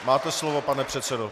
Máte slovo, pane předsedo.